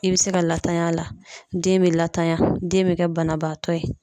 I bɛ se ka latany'a la den bɛ latanya den bɛ kɛ banabaatɔ ye.